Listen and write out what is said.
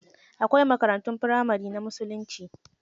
Akwai makarantun firamari na musulunci.